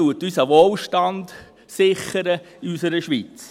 Das sichert unseren Wohlstand in unserer Schweiz.